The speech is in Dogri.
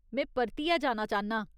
में परतियै जाना चाह्न्नां ।